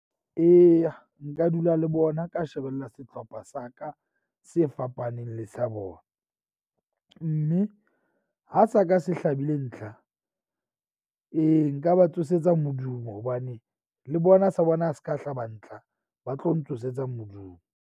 Eya, nka dula le bona ka shebella sehlopha sa ka se fapaneng le sa bona. Mme ha sa ka se hlabile ntlha ee, nka ba tsosetsa modumo hobane le bona sa bona ha se ka hlaba ntlha, ba tlo ntsosetsa modumo.